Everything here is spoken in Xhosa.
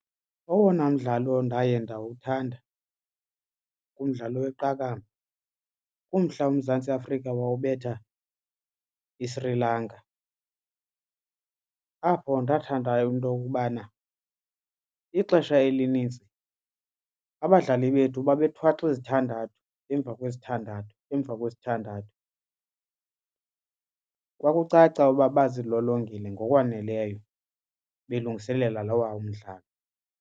Owona mdlalo ndaye ndawuthanda kumdlalo weqakamba kumhla uMzantsi Afrika wawubetha iSri Lanka. Apho ndathanda into yokubana ixesha elinintsi abadlali bethu babethwaxa izithandathu emva kwesithandathu emva kwesithandathu. Kwakucaca uba bazilolongile ngokwaneleyo belungiselela lowa mdlalo.